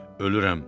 Ölürəm.